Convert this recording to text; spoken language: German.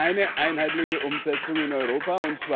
Wir haben keine einheitliche Umsetzung in Europa.